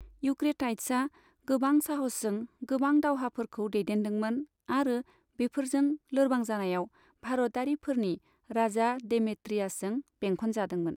इउक्रेटाइड्सआ गोबां साहसजों गोबां दावहाफोरखौ दैदेन्दोंमोन, आरो बेफोरजों लोरबां जानायाव, भारतारिफोरनि राजा डेमेट्रियासजों बेंखनजादोंमोन।